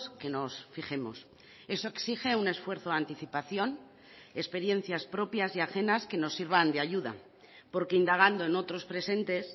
que nos fijemos eso exige un esfuerzo de anticipación experiencias propias y ajenas que nos sirvan de ayuda porque indagando en otros presentes